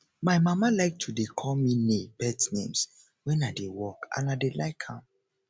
my mama like to dey call me pet names wen i dey work and i dey like am